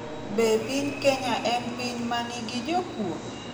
Be piny Kenya en piny ma nigi jokuo?